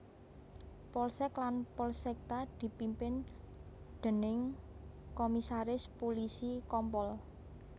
Polsek lan Polsekta dipimpin déning Komisaris Pulisi Kompol